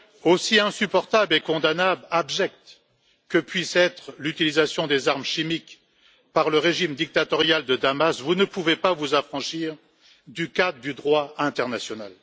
Aussi insupportable, condamnable et abjecte que puisse être l'utilisation des armes chimiques par le régime dictatorial de Damas, vous ne pouvez pas vous affranchir du cadre du droit international.